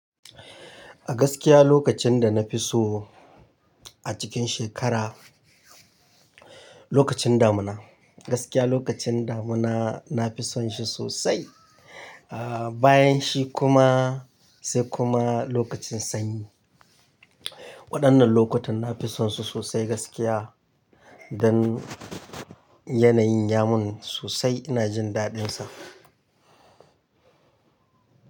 A gaskiya lokacin da na fi so a cikin shekara, lokacin damuna. Gaskiya lokacin damuna nafi son shi sosai, ah bayan shi kuma sai kuma lokacin sanyi. Waɗannan lokutan nafi son su sosai gaskiya don yanayin yamun sosai ina jin daɗinsa.